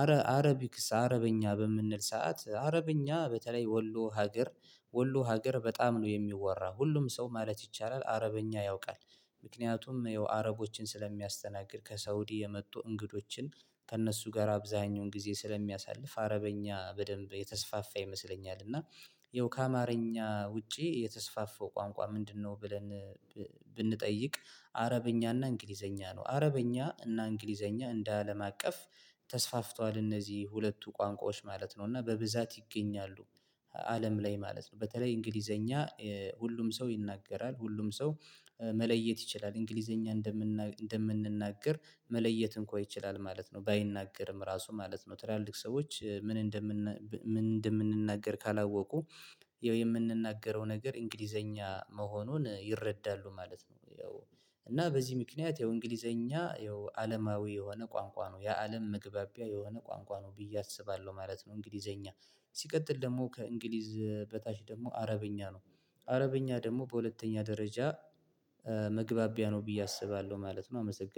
አረ አረቢክስ አረበኛ በምንል ሰዓት አረበኛ በተለይ ወሎ ሀገር ወሎ ሀገር በጣም ነው የሚወራ ሁሉም ሰው ማለት ይቻላል አረበኛ ያውቃል። ምክንያቱም የአረቦችን ስለሚያስተናግድ ከሳውዲ የመጡ እንግዶችን ከእነሱ ጋር አብዛኛውን ጊዜ ስለሚያሳልፍ አረበኛ በደንብ የተስፋፋ ይመስለኛል። እና የውካ አማርኛ ውጪ የተስፋፋው ቋንቋ ምንድነው? ብለን ብንጠይቅ አረበኛ እና እንግሊዘኛ ነው። አረበኛ እና እንግሊዘኛ እንደ አለም አቀፍ ተስፋፍቷል እነዚህ ሁለቱ ቋንቋዎች ማለት ነው እና በብዛት ይገኛሉ። አለም ላይ ማለት ነው። በተለይ እንግሊዘኛ ሁሉም ሰው ይናገራል ሁሉም ሰው መለየት ይችላል እንግሊዘኛ እንደምንነግር እንደምንናገር መለየት እንኳን ይችላል ማለት ነው። ባይናገርም ራሱ ማለት ነው ትላልቅ ሰዎች ምን እንደምን ምን እንደምንናገር ካላወቁ የምንናገረው ነገር እንግሊዘኛ መሆኑን ይረዳሉ ማለት ነው። ያው እና በዚህ ምክንያት የእንግሊዘኛ ያው አለማዊ የሆነ ቋንቋ ነው የአለም ምግባቢያ የሆነ ቋንቋ ነው ብዬ አስባለሁ ማለት ነው። እንግሊዘኛ ሲቀጥል ደግሞ ከእንግሊዝ በታች ደግሞ አረብኛ ነው። አረብኛ ደግሞ በሁለተኛ ደረጃ መግባቢያ ነው ብዬ አስባለሁ ማለት ነው። አመሰግናለሁ